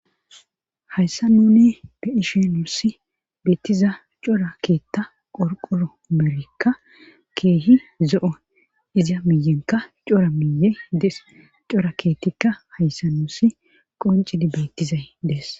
hayssa nune be ishi nuussi beettiza cora keetta qorqoro merekka keehi zo7o iza miyenka cora miyedes cora keettikka hayssa nuussi qoncidi beettizay dees